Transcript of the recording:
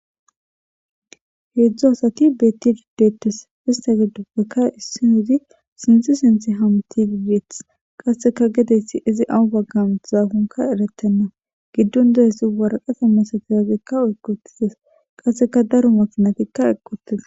heedzdzo asati beettidii detes ista gidupbeka issi hizi sinti sinti ham ti ibeeth qasseka gedessi izi awu baggamut zaafonka eretenna giddon deyesi waraqata masatiazekka oykotizes qasseka daro makinatikka eqqi uttida